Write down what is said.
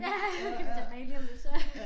Ja kommer tilbage lige om lidt så